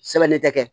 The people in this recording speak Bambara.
Sɛbɛnnen tɛ